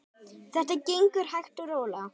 Þetta gengur hægt og rólega.